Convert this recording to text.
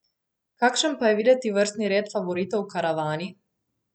Kakšen pa je videti vrstni red favoritov v karavani?